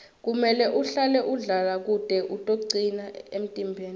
kumele uhlale udlala kute utocina emtimbeni